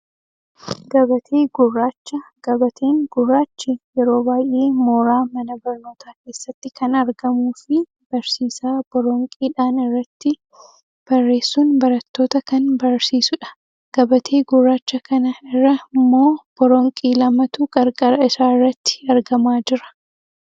Gabatee gurraacha, gabateen gurraachi yeroo baayyee mooraa mana barnootaa keessatti kan argamuufi barsiisaa boronqidhaan irratti barrreessuun barattoota kan barsiisudha. Gabatee gurraacha kana irra ammoo boronqii lamatu qarqara isaarratti argamaa jira.